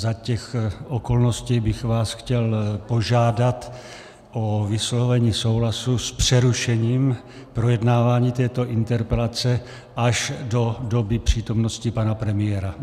Za těch okolností bych vás chtěl požádat o vyslovení souhlasu s přerušením projednávání této interpelace až do doby přítomnosti pana premiéra.